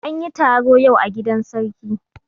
An yi taro yau a gidan sarki.